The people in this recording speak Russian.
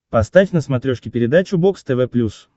поставь на смотрешке передачу бокс тв плюс